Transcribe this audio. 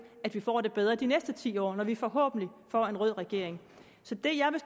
at vi får det bedre de næste ti år når vi forhåbentlig får en rød regering så det jeg vil